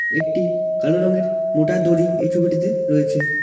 একটি কালো রঙের মোটা দড়ি এই ছবিটিতে রয়েছে।